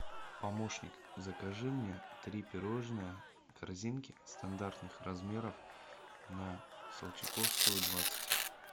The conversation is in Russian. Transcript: помощник закажи мне три пирожные корзинки стандартных размеров на солчаковскую двадцать